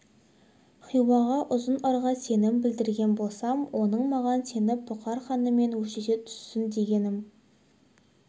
хиуаға ұзын ырға сенім білдірген болсам оның маған сеніп бұқар ханымен өштесе түссін дегенім